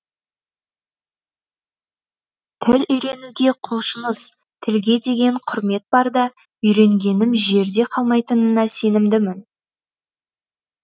тіл үйренуге құлшыныс тілге деген құрмет барда үйренгенім жерде қалмайтынына сенімдімін